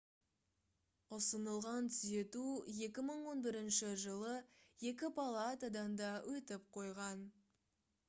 ұсынылған түзету 2011 жылы екі палатадан да өтіп қойған